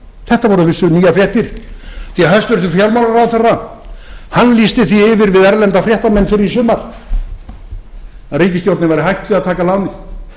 þetta voru nýjar fréttir því að hægt fjármálaráðherra lýsti því yfir við erlenda fréttamenn fyrr í sumar að ríkisstjórnin væri hætt við að taka lánið